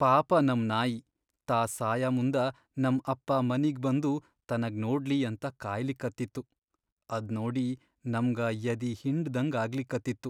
ಪಾಪ ನಮ್ ನಾಯಿ ತಾ ಸಾಯಮುಂದ ನಮ್ ಅಪ್ಪಾ ಮನಿಗ್ ಬಂದು ತನಗ್ ನೋಡ್ಲಿ ಅಂತ ಕಾಯ್ಲಿಕತ್ತಿತ್ತು, ಅದ್ನೋಡಿ ನಮ್ಗ ಯದಿ ಹಿಂಡ್ದಂಗ್ ಆಗ್ಲಿಕತ್ತಿತ್ತು.